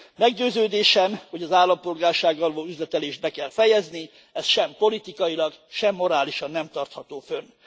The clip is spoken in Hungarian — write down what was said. Meggyőződésem, hogy az állampolgársággal való üzletelést be kell fejezni, ez sem politikailag, sem morálisan nem tartható fönn.